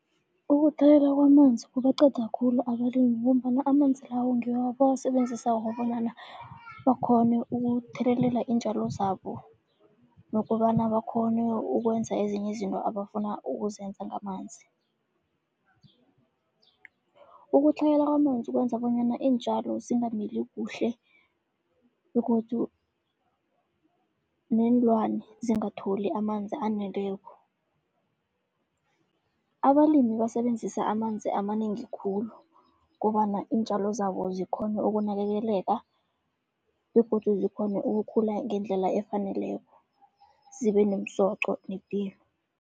Ukutlhayela kwamanzi kubaqeda khulu abalimi, ngombana amanzi lawo ngiwo abawasebenzisako bonyana bakhone ukuthelelela iintjalo zabo, nokobana bakhone ukwenza ezinye izinto abafuna ukuzenza ngamanzi. Ukutlhayela kwamanzi kwenza bonyana iintjalo zingamili kuhle, begodu neenlwane zingatholi amanzi aneleko. Abalimi basebenzisa amanzi amanengi khulu kobana iintjalo zabo zikhone ukunakekeleka, begodu zikghone ukukhula ngendlela efaneleko zibe nomsoqo nepilo.